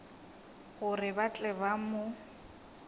gore ba tle ba mo